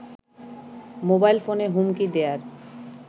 mobile ফোনে হুমকি দেয়ার